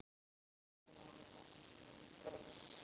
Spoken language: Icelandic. Leikir glens og gaman.